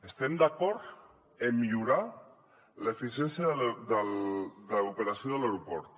estem d’acord amb millorar l’eficiència de l’operació de l’aeroport